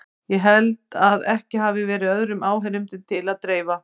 Ég held að ekki hafi verið öðrum áheyrendum til að dreifa.